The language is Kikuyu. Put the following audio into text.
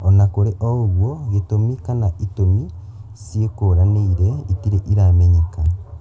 Ona kũrĩ ũguo, gĩtũmi kana itũmi ciĩkũranĩire itirĩ iramenyeka